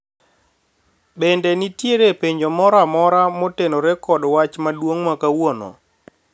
bende nitiere penjo moro amora motenore kod wach maduong' ma kawuono ?